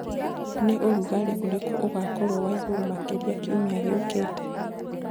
ni ũrũgarĩ ũrĩkũ ugakorwo wa iguru makĩrĩa kĩũmĩa gĩũkĩte